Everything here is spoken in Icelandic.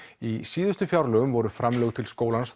í síðustu fjárlögum voru framlög til skólans